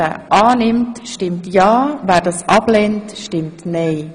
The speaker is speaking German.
Wer die Aufhebung von Artikel 7 annimmt, stimmt ja, wer das ablehnt, stimmt nein.